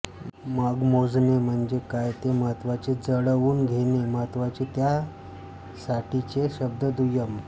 मग मोजणे म्हणजे काय ते महत्त्वाचे जुळवून घेणे महत्त्वाचे त्या साठीचे शब्द दुय्यम